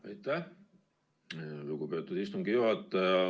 Aitäh, lugupeetud istungi juhataja!